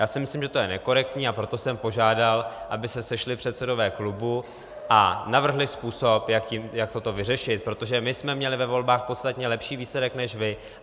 Já si myslím, že to je nekorektní, a proto jsem požádal, aby se sešli předsedové klubů a navrhli způsob, jak toto vyřešit, protože my jsme měli ve volbách podstatně lepší výsledek než vy.